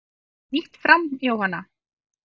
Kom eitthvað nýtt fram Jóhanna?